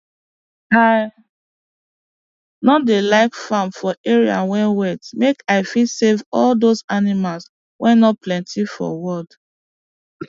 i no dey like farm for area wey wet make i fit save all those animals wey no plenty for world